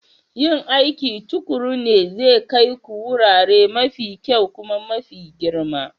Yin aiki tuƙuru ne zai kai ku wurare mafi kyau kuma mafi girma.